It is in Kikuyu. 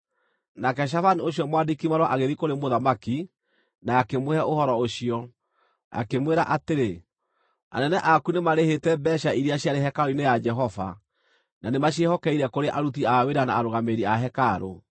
Nake Shafani ũcio mwandĩki-marũa agĩthiĩ kũrĩ mũthamaki na akĩmũhe ũhoro ũcio, akĩmwĩra atĩrĩ: “Anene aku nĩmarĩhĩte mbeeca iria ciarĩ hekarũ-inĩ ya Jehova, na nĩmaciĩhokeire kũrĩ aruti a wĩra na arũgamĩrĩri a hekarũ.”